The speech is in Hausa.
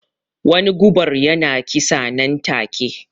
Wani gubar ya na kisa nan take